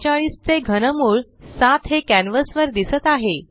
343 चे घनमूळ 7 हे कॅन्वस वर दिसत आहे